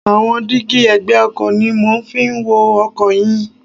Àwọn dígí ẹ̀gbẹ́ ọkọ̀ ni mo fi ń wo ọkọ̀ ẹyin.